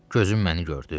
Gözüm məni gördü?